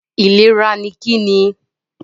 Ìlera ni Kí ni?